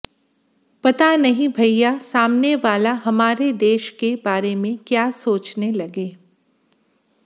पता नहीं भइया सामने वाला हमारे देश के बारे में क्या सोचने लगे